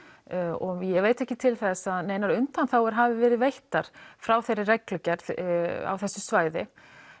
og ég veit ekki til þess að neinar undanþágur hafi verið veittar frá þeirri reglugerð á þessu svæði